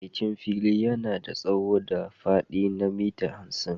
Matsakaicin fili yana da tsawo da faɗi na mita hamsin.